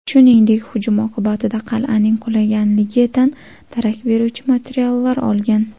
Shuningdek, hujum oqibatida qal’aning qulaganligidan darak beruvchi materiallar olgan.